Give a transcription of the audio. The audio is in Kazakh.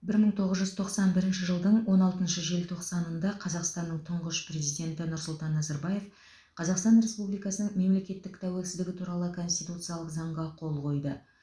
бір мың тоғыз жүз тоқсан бірінші жылдың он алтыншы желтоқсанында қазақстанның тұңғыш президенті нұрсұлтан назарбаев қазақстан республикасының мемлекеттік тәуелсіздігі туралы конституциялық заңға қол қойды